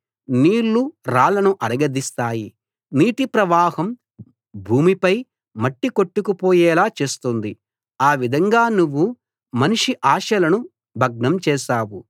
నీళ్ళు రాళ్లను అరగదీస్తాయి నీటి ప్రవాహం భూమిపై మట్టి కొట్టుకుపోయేలా చేస్తుంది ఆ విధంగా నువ్వు మనిషి ఆశలను భగ్నం చేశావు